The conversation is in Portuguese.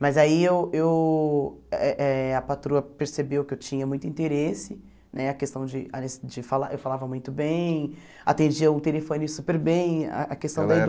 Mas aí eu eu eh a patroa percebeu que eu tinha muito interesse, né a questão de as de falar eu falava muito bem, atendia o telefone super bem, a questão da